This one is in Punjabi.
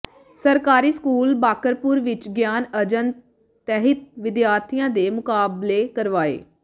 ਸਰਕਾਰੀ ਸਕੂਲ ਬਾਕਰਪੁਰ ਵਿੱਚ ਗਿਆਨ ਅੰਜਨ ਤਹਿਤ ਵਿਦਿਆਰਥੀਆਂ ਦੇ ਮੁਕਾਬਲੇ ਕਰਵਾਏ